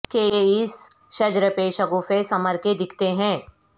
کہ اس شجر پہ شگوفے ثمر کے دیکھتے ہیں